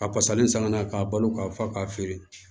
A fasalen san ka na k'a balo ka fa k'a feere